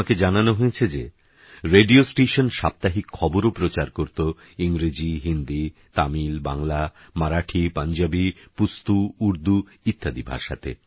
আমাকে জানানো হয়েছে যে রেডিও স্টেশন সাপ্তাহিক খবরও প্রচার করত ইংরেজী হিন্দী তামিল বাংলা মারাঠী পাঞ্জাবী পুস্তু ঊর্দু ইত্যাদি ভাষাতে